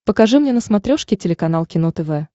покажи мне на смотрешке телеканал кино тв